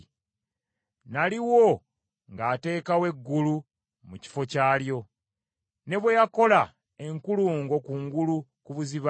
Naliwo ng’ateekawo eggulu mu kifo kyalyo, ne bwe yakola enkulungo kungulu ku buziba,